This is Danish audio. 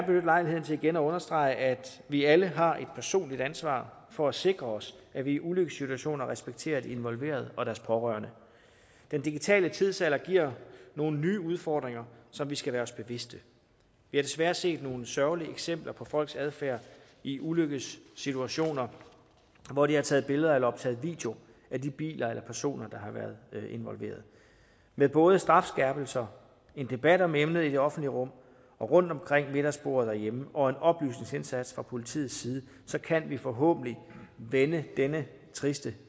lejligheden til igen at understrege at vi alle har et personligt ansvar for at sikre os at vi i ulykkessituationer respekterer de involverede og deres pårørende den digitale tidsalder giver nogle nye udfordringer som vi skal være os bevidste vi har desværre set nogle sørgelige eksempler på folks adfærd i ulykkessituationer hvor de har taget billeder eller optaget video af de biler eller personer der har været involveret med både strafskærpelser en debat om emnet i det offentlige rum og rundt om middagsbordet derhjemme og en oplysningsindsats fra politiets side kan vi forhåbentlig vende denne triste